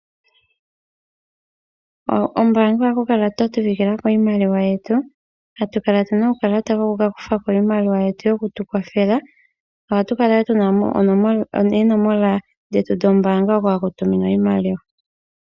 Kombaanga ohatu kala twa siikila ko iimaliwa yetu atu kala tuna iimaliwa yetu yokutukwathela ,ohatu kala wo tuna oonomola dhetu dhombaanga hoka haku tuminwa iimaliwa .